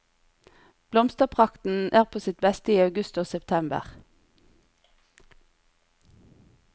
Blomsterprakten er på sitt beste i august og september.